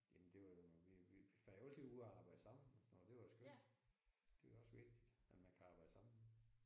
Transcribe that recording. Jamen det var jo vi vi vi var jo altid ude og arbejde sammen og sådan noget det var skønt. Det er også vigtigt at man kan arbejde sammen